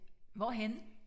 Hvorhenne?